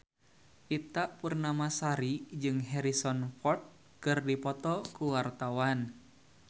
Ita Purnamasari jeung Harrison Ford keur dipoto ku wartawan